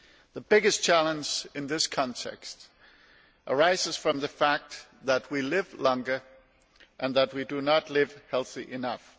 The biggest challenge in this context arises from the fact that we live longer and do not live healthily enough.